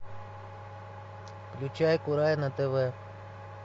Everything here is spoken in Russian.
включай курай на тв